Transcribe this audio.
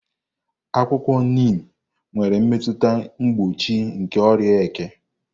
Akwụkwọ Niim nwere mmetụta mgboochi nke oria eke.